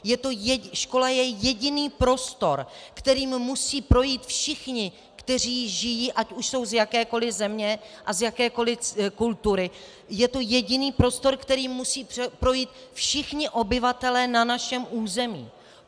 Škola je jediný prostor, kterým musí projít všichni, kteří žijí, ať už jsou z jakékoli země a z jakékoli kultury, je to jediný prostor, kterým musí projít všichni obyvatelé na našem území.